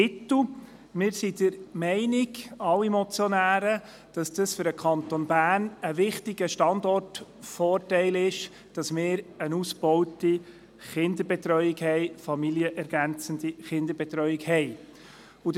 Vielmehr sind wir, also alle Motionäre, der Meinung, für den Kanton Bern sei es ein wichtiger Standortvorteil, eine ausgebaute familienergänzende Kinderbetreuung zu haben.